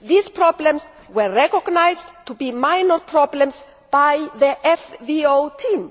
These problems were recognised to be minor problems by the FVO Team.